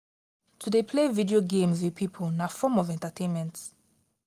to de play video games with pipo na form of entertainment